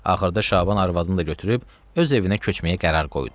Axırda Şaban arvadını da götürüb öz evinə köçməyə qərar qoydu.